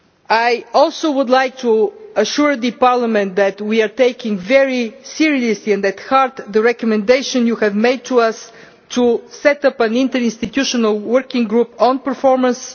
I also would like to assure Parliament that we are taking very seriously and taking to heart the recommendation you have made to us to set up an interinstitutional working group on performance.